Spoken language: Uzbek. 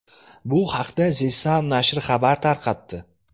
Bu haqda The Sun nashri xabar tarqatdi .